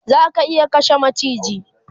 Zaka iya kashe macijin?